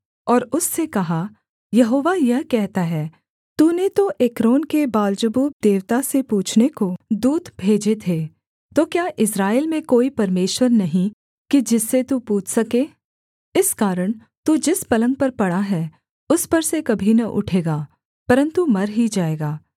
और उससे कहा यहोवा यह कहता है तूने तो एक्रोन के बालजबूब देवता से पूछने को दूत भेजे थे तो क्या इस्राएल में कोई परमेश्वर नहीं कि जिससे तू पूछ सके इस कारण तू जिस पलंग पर पड़ा है उस पर से कभी न उठेगा परन्तु मर ही जाएगा